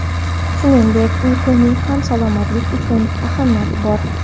Shuningdek, uyquning ham salomatlik uchun ahamiyati bor.